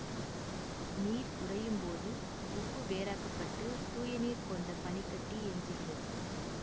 நீர் உறையும் போது உப்பு வேறாக்கப்பட்டு தூய நீர் கொண்ட பனி கட்டி எஞ்சுகிறது